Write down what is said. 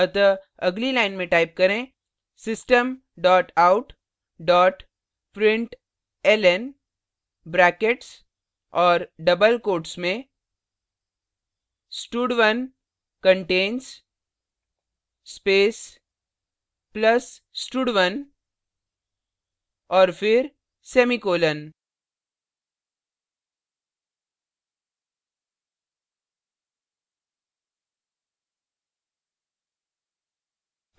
अतः अगली line type करें system dot out dot println brackets और double quotes में stud1 contains space plus stud1 और फिर semicolon